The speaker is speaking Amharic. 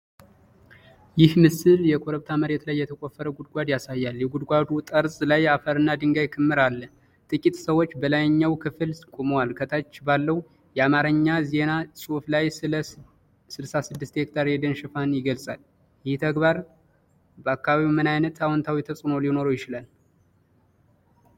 ይህ ምስል የኮረብታ መሬት ላይ የተቆፈረ ጉድጓድ ያሳያል። የጉድጓዱ ጠርዝ ላይ አፈርና ድንጋይ ክምር አለ፤ ጥቂት ሰዎች በላይኛው ክፍል ቆመዋል። ከታች ባለው የአማርኛ ዜና ጽሑፍ ላይ ስለ"66 ሄክታር የደን ሽፋን"ይገልጻል። ይህ ተግባር በአካባቢው ምን ዓይነት አዎንታዊ ተጽዕኖ ሊኖረው ይችላል?